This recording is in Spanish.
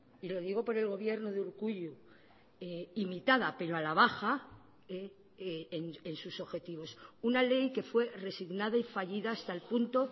y lo digo por el gobierno de urkullu imitada pero a la baja en sus objetivos una ley que fue resignada y fallida hasta el punto